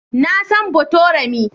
Na san Botorami.